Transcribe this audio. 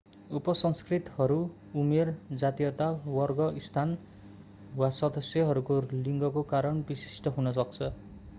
उप-संस्कृतिहरू उमेर जातीयता वर्ग स्थान र/वा सदस्यहरूको लिङ्गको कारण विशिष्ट हुन सक्छ।